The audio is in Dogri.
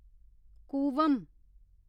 कूवम